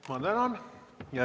Ma tänan!